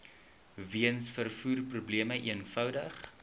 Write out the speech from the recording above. weens vervoerprobleme eenvoudig